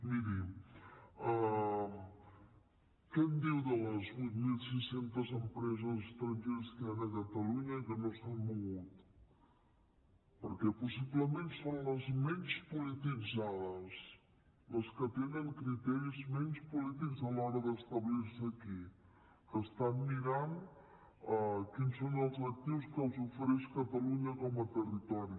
miri què em diu de les vuit mil sis cents empreses estrangeres que hi han a catalunya que no s’han mogut perquè possiblement són les menys polititzades les que tenen criteris menys polítics a l’hora d’establir se aquí que estan mirant quins són els actius que els ofereix catalunya com a territori